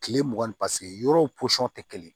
Kile mugan ni yɔrɔw tɛ kelen